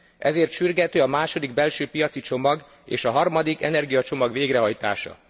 Ezért sürgető a második belsőpiaci csomag és a harmadik energiacsomag végrehajtása.